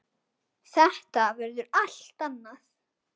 Þetta verður allt annað.